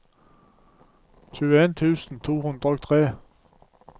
tjueen tusen to hundre og tre